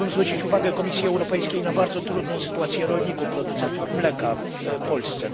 Chciałbym zwrócić uwagę Komisji Europejskiej na bardzo trudną sytuację rolników producentów mleka w Polsce.